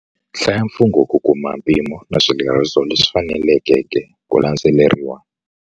Hlaya mfungo ku kuma mpimo na swileriso leswi fanelekeke ku landzeleriwa.